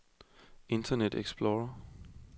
internet explorer